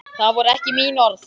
Það voru ekki mín orð.